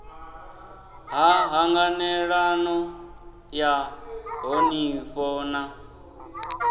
ha ṱhanganelano ya ṱhonifho na